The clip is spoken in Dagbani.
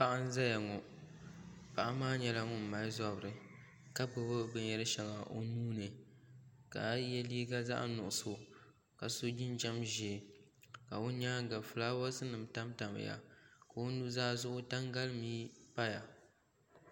Paɣa n ʒɛya ŋo paɣa maa nyɛla ŋun mali zabiri ka gbubi binyɛri shɛŋa o nuuni ka yɛ liiga zaɣ nuɣso ka so jinjɛm ʒiɛ ka o nyaanga fulaawaasi nim tamtamya ka o nuzaa zuɣu tangalimii paya